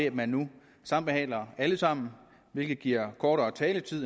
at man nu sambehandler alle sammen hvilket giver kortere taletid